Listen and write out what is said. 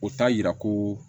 O t'a yira ko